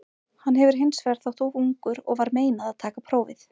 Hann hefur hins vegar þótt of ungur og var meinað að taka prófið.